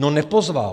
No, nepozval.